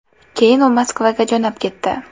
Keyin u Moskvaga jo‘nab ketdi.